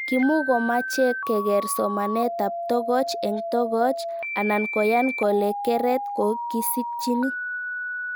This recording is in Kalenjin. Kimukomache keker somanet ab tokoch eng' tokoch anan koyan kole keret ko kisikchini